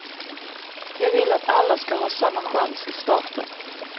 Jag vill att alla ska ha samma chans i starten.